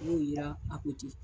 M'u yira .